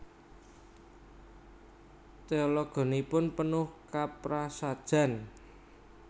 Teologinipun penuh kaprasajan